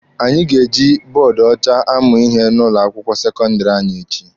Anyị ga-eji bọọdụ ọcha amụ ihe n'ụlọ akwụkwọ sekọndịrị anyị echi.